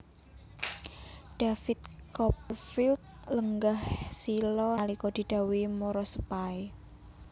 David Copperfield lenggah sila nalika didhawuhi marasepahe